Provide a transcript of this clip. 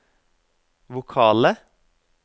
vokale